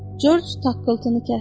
Corc taqqıltını kəsdi.